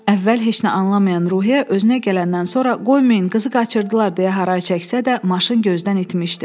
Əvvəl heç nə anlamayan Ruhiyyə özünə gələndən sonra qoymayın qızı qaçırdılar deyə haray çəksə də, maşın gözdən itmişdi.